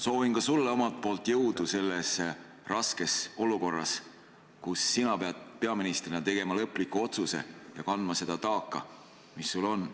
Soovin sulle ka omalt poolt jõudu selles raskes olukorras, kus sina pead peaministrina tegema lõpliku otsuse ja kandma seda taaka, mis sul on.